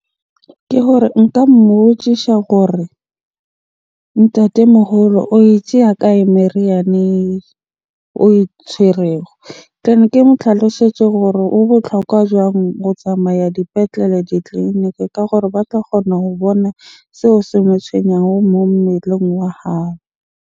Ke gore nka mmotjisha gore, ntatemoholo oe tjeya kae meriana oe tshwerego? Ke mo tlhalosetse hore ho botlhokwa jwang ho tsamaya dipetlele, ditleniki ka gore ba tla kgona ho bona seo se mo tshwenyang mo mmeleng wa hao.